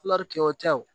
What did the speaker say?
kɛ o tɛ o